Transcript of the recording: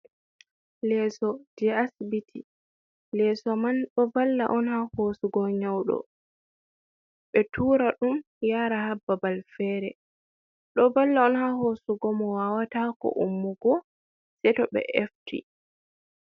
Leeso je asbiti, leeso man ɗo valla on ha hosugo nyauɗo, ɓe tura ɗum yara ha bbabal fere, ɗo valla on ha hosugo mo wawata ko ummugo sei to ɓe efti.